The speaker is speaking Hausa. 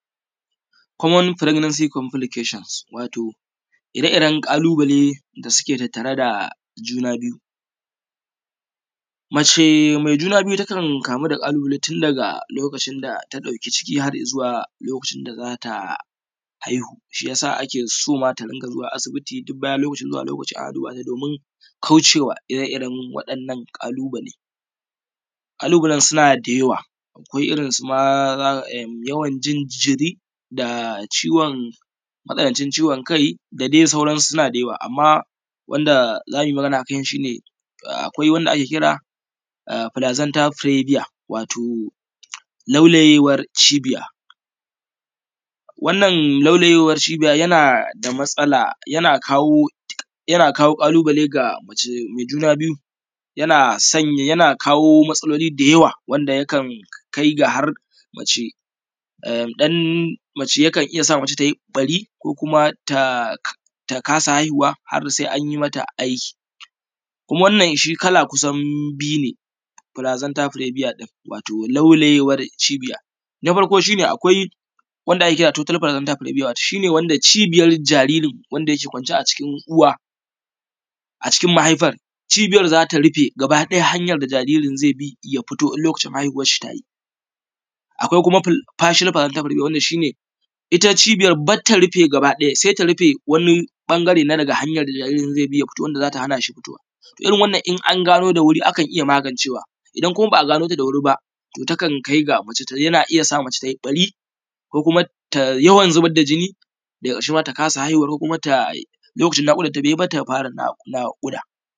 Common Pregnancy Complications, Wato ire-iren ƙalubale da suke tattare da juna biyu, mace mai juna biyu takan kamu da ƙalubale tun daga lokacin data ɗauki ciki har zuwa lokacin da za ta haihu, shi ya sa ake so matanka ta ringa zuwa aisibi duk bayan lokaci zuwa bayan lokaci domin kaucewa ire-iren waɗannan ƙalubale, ƙalubalen suna da yawa, kamar irin su yawan jin jiri da ciwon kai da dai sauransu suna da yawa, amma wanda za mu yi magana akai shi ne akwai wanda ake kira wato plaxanta prebia wato laulayewar cibiya, wannan laulayewar cibiya yana da matsala yana kawo ƙalubale ga mace mai juna biyu, yana kawo matsaloli da yawa wanda yakan kai ga ya sa mace ta yi ɓari ko kuma ta kasa haihuwa har sai an yi mata aiki, kuma wannan shi har kala kusan biyu ne, plaxanta prebia wato laulayewar cibiya, na farko shi ne wato wanda cibiyar jariri wanda yake kwance a cikin uwa wato cikin mahaifar cibiyar za ta rufe gabaɗaya, hanyar da jaririn zai bi ya fito in lokacin haihuwar shi ta yi. Akwai kuma passion plaxanta prebia wanda ita cibiyar ba ta rufe gabaɗaya sai ta rufe wani ɓangare na daga hanyar da jaririn zai bi ya fito wanda za ta hana shi fitowa, irin wannan in an gano da wuri akan iya magancewa, idan kuma ba a gano da wuri ba yakan kai da ya sa mace ta yi ɓari ko kuma yawan zubar da jini daga ƙarshe ma ta kasa haihuwa ko kuma lokacin naƙudanta bai yi ba ta fara naƙuda.